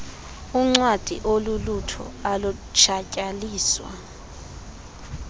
uncwadi olulutho alutshatyalaliswa